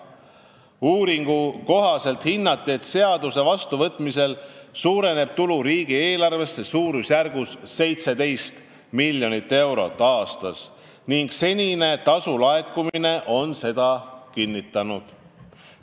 Uuringu kohaselt hinnati, et seaduse vastuvõtmisel suureneb tulu riigieelarvesse suurusjärgus 17 miljonit eurot aastas ning senine tasude laekumine on seda kinnitanud.